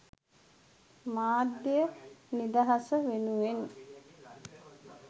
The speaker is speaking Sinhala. මාධ්‍ය නිදහස වෙනුවෙන්